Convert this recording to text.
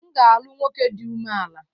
M ga-alu nwoke di ume-ala.